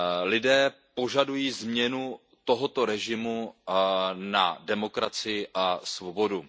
Lidé požadují změnu tohoto režimu na demokracii a svobodu.